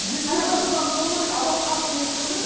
екеуі де шыдамды болуы керек анау қатты нетпеу керек